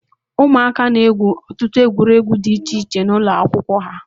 Ụmụaka na-egwu ọtụtụ egwuregwu di iche iche n'ụlọ akwụkwọ ha.